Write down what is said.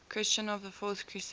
christians of the fourth crusade